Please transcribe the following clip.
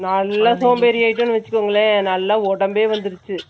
நல்லா சோம்பேறி ஆயிட்டோனு வெச்சுக்கோங்களே நல்லா உடம்பே வந்துருச்சு